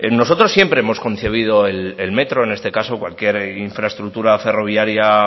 nosotros siempre hemos concebido el metro en este caso cualquier infraestructura ferroviaria